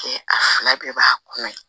A fila bɛɛ b'a kɔnɔ